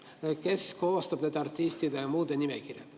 Kes koostab artistide ja muude nimekirjad?